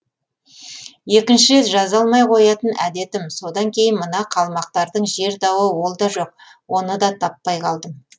екінші рет жаза алмай қоятын әдетім содан кейін мына қалмақтардың жер дауы ол да жоқ оны да таппай қалдым